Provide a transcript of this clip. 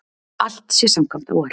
Allt sé samkvæmt áætlun